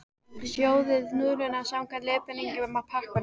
Sjóðið núðlurnar samkvæmt leiðbeiningum á pakkanum.